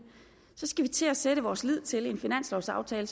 skal vi til at sætte vores lid til en finanslovsaftale